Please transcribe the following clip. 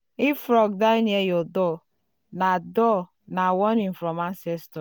if frog die near your door na door na warning from ancestors.